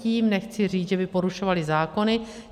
Tím nechci říct, že by porušovaly zákony.